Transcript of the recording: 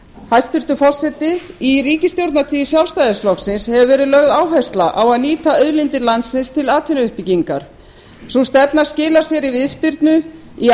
hæstvirtur forseti í ríkisstjórnartíð sjálfstæðisflokksins hefur verið lögð áhersla á að nýta auðlindir landsins til atvinnuuppbyggingar sú stefna skilar sér í viðspyrnu í